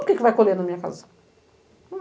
Por que vai colher na minha casa?